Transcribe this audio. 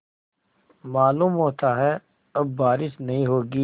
मालूम होता है अब बारिश नहीं होगी